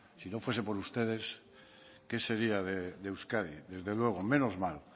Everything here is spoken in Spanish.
si no fuese por ustedes qué sería de euskadi desde luego menos mal